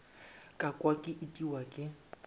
ka kwa ke itiwa ke